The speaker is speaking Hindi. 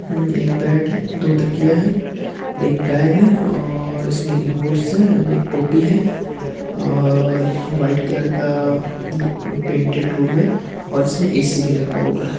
उम्म एक बेड है दो तकिया है एक बैग है और इसमें रिमोट्स हैं। अन एक टोपी है और व्हाइट कलर का द् पेंटेड रूम है और इसमें ए.सी. भी लगा हुआ है।